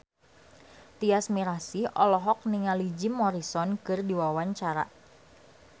Tyas Mirasih olohok ningali Jim Morrison keur diwawancara